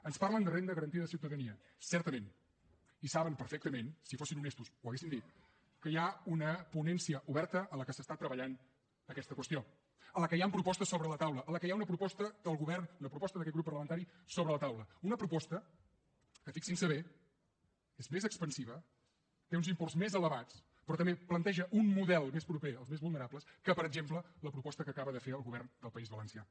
ens parlen de renda garantida de ciutadania certament i saben perfectament si fossin honestos ho haurien dit que hi ha una ponència oberta en què s’està treballant aquesta qüestió en què hi han propostes sobre la taula en què hi ha una proposta del govern una proposta d’aquest grup parlamentari sobre la taula una proposta que fixin se bé és més expansiva té uns imports més elevats però també planteja un model més proper als més vulnerables que per exemple la proposta que acaba de fer el govern del país valencià